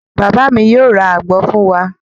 Bàbá mi yóò ra àgbọn fún wa.